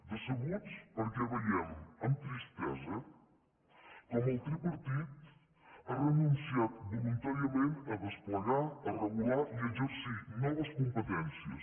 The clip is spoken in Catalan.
decebuts perquè veiem amb tristesa com el tripartit ha renunciat voluntàriament a desplegar a regular i a exercir noves competències